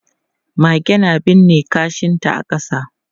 Mage na binne kashinta a ƙasa.